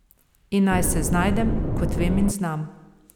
In naj se znajdem, kot vem in znam ...